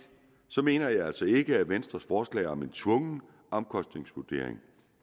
mener jeg altså ikke at venstres forslag om en tvungen omkostningsvurdering